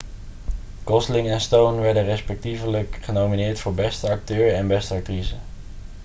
gosling en stone werden respectievelijk genomineerd voor beste acteur en beste actrice